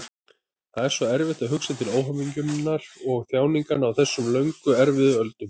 Það er svo erfitt að hugsa til óhamingjunnar og þjáninganna á þessum löngu erfiðu öldum.